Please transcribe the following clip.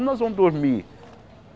Nós vamos dormir?